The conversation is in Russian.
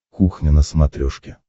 кухня на смотрешке